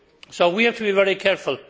So we have to be very careful.